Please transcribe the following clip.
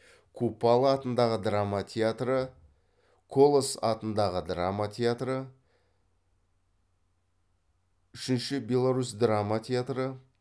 купала атындағы драма театры колас атындағы драма театры үшінші беларусь драма театры